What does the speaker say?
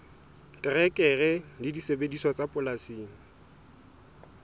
terekere le disebediswa tsa polasing